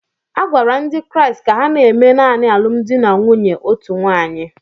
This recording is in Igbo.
A gwara ndị Kraịst ka ha na-eme naanị alụmdi na nwunye otu nwaanyị